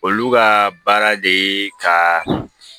Olu ka baara de ye ka